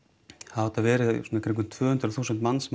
hafa þetta verið svona í kringum tvö hundruð þúsund manns